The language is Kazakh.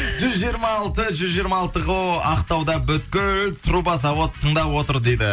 жүз жиырма алты жүз жиырма алты ғой ақтауда бүкіл труба завод тыңдап отыр дейді